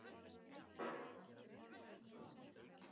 Halldóru Sigfinnsdóttur frá Miðbæ, sem var á heimilinu þegar